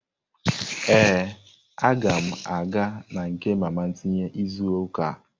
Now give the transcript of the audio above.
Ee, aga m aga na nke mama tinye izu ụka a.